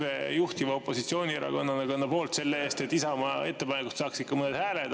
Jah, EKRE juhtiva opositsioonierakonnana kannab hoolt selle eest, et Isamaa ettepanekud saaks ikka mõne hääle.